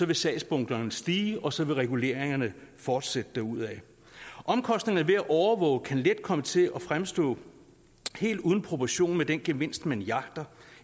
vil sagsbunkerne stige og så vil reguleringerne fortsætte derudad omkostningerne ved at overvåge kan let komme til at fremstå helt ude af proportion med den gevinst man jagter